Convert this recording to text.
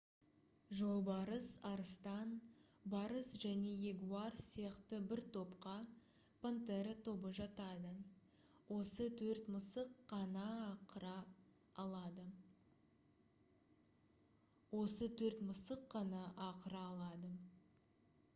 жолбарыс арыстан барыс және ягуар сияқты бір топқа пантера тобы жатады. осы төрт мысық қана ақыра алады